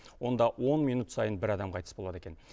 онда он минут сайын бір адам қайтыс болады екен